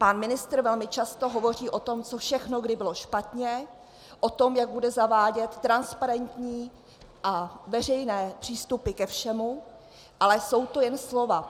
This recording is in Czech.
Pan ministr velmi často hovoří o tom, co všechno kdy bylo špatně, o tom, jak bude zavádět transparentní a veřejné přístupy ke všemu, ale jsou to jen slova.